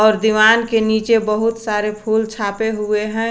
और दीवार के नीचे बहुत सारे फूल छापे हुए हैं।